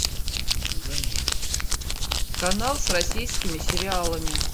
канал с российскими сериалами